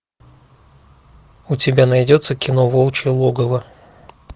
у тебя найдется кино волчье логово